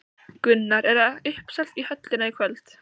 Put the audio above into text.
Gunnar, er uppselt í höllina í kvöld?